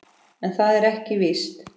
En það er ekki víst.